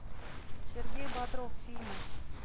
сергей бодров фильмы